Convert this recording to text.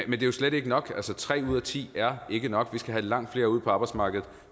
jo slet ikke nok tre ud af ti er ikke nok vi skal have langt flere ud på arbejdsmarkedet